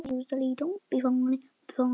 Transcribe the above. Og þannig er það ennþá.